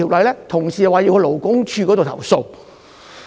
有同事表示要向勞工處作出投訴。